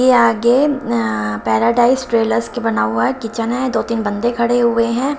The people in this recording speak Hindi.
के आगे पैराडाइज ट्रेलर्स के बना हुआ है किचन है। दो तीन बंदे खड़े हुए हैं।